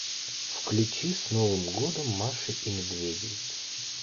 включи с новым годом маши и медведей